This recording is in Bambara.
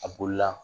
A bolila